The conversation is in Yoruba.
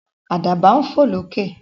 Àdàbà ń fò lókè.